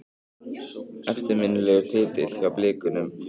Eftirminnilegur titill hjá Blikunum.